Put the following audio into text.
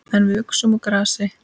En við uxum úr grasi.